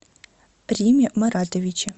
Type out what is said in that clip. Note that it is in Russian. риме маратовиче